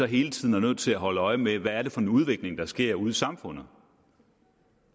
hele tiden nødt til at holde øje med hvad det er for en udvikling der sker ude i samfundet